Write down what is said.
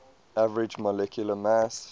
average molecular mass